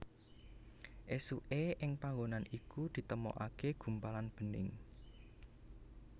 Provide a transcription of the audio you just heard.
Esuke ing panggonan iku ditemokake gumpalan bening